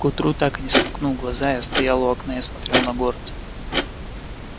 к утру так и не сомкнув глаза я стоял у окна и смотрел на город